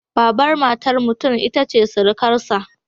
Babar matar mutum ita ce sirikarsa.